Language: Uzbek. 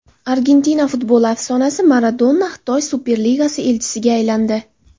Argentina futboli afsonasi Maradona Xitoy Superligasi elchisiga aylandi.